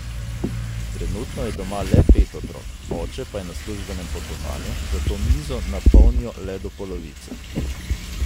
Trenutno je doma le pet otrok, oče pa je na službenem potovanju, zato mizo napolnijo le do polovice.